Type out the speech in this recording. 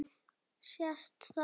Sést það ekki?